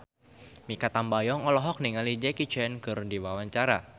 Mikha Tambayong olohok ningali Jackie Chan keur diwawancara